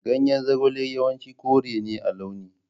Ganyen zogale yawanci kore ne a launi.